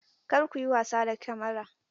Kar ku yi wasa da Kamara!